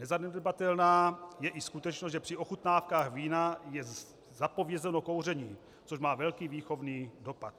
Nezanedbatelná je i skutečnost, že při ochutnávkách vína je zapovězeno kouření, což má velký výchovný dopad.